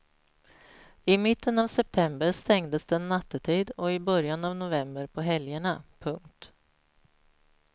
I mitten av september stängdes den nattetid och i början av november på helgerna. punkt